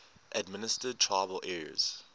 administered tribal areas